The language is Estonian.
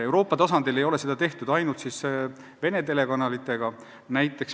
Euroopa tasandil ei ole seda tehtud ainult Vene telekanalitega.